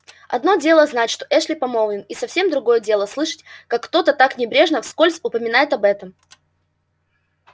одно дело знать что эшли помолвлен и совсем другое дело слышать как кто-то так небрежно вскользь упоминает об этом